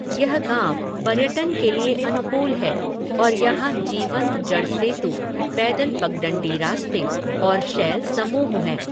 यह गाँव पर्यटन के लिए अनुकूल है और यहाँ जीवंत जड़ सेतु, पैदल पगडंडी रास्ते और शैल समूह हैं।